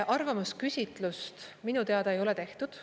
Arvamusküsitlust minu teada ei ole tehtud.